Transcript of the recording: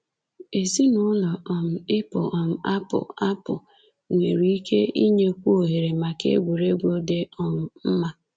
Ezinụụlọ um ịpụ um apụ apụ nwere ike inyekwu ohere maka egwuregwu dị um mma.